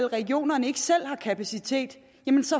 regionerne ikke selv har kapacitet